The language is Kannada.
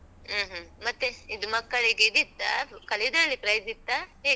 ಹ್ಮ ಹ್ಮ. ಮತ್ತೆ ಇದು ಮಕ್ಕಳಿಗೆ ಇದಿತ್ತಾ? ಕಲಿಯುದ್ರಲ್ಲಿ prize ಇತ್ತಾ? ಹೇಗೆ?